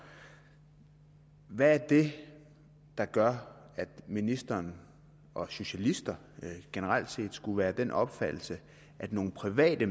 hvad er det der gør at ministeren og socialister generelt set skulle være af den opfattelse at nogle private